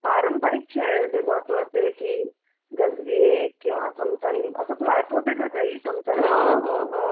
तर मग आपले. पारंपरिक खेळ जे महत्त्वाचे आहेत की गजगे किंवा चमचा लिंबू असं तुला आठवतंय का काही? चमचा लिंबू वगैरे?